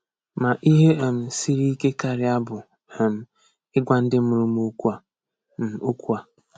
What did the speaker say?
Ma ihe um siri ike karị bụ um ịgwa ndị mụrụ m okwu a. m okwu a.